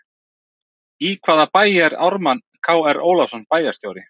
Í hvaða bæ er Ármann Kr Ólafsson bæjarstjóri?